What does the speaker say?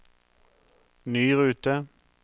ny rute